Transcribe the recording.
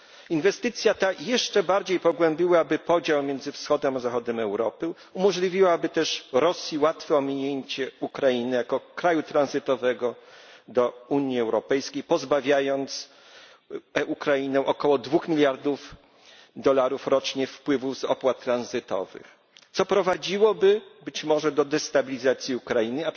Inwestycja ta jeszcze bardziej pogłębiłaby podział między wschodem a zachodem Europy, umożliwiłaby też Rosji łatwe ominięcie Ukrainy jako kraju tranzytowego do Unii Europejskiej, pozbawiając Ukrainę około dwóch miliardów dolarów rocznie wpływów z opłat tranzytowych, co prowadziłoby być może do destabilizacji Ukrainy.